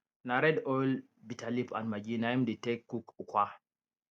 na red oil bitter leaf and maggi na im dey take cook ukwa